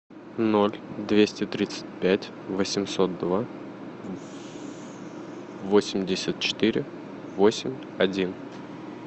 ноль двести тридцать пять восемьсот два восемьдесят четыре восемь один